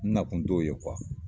N na kun t'o ye kuwa!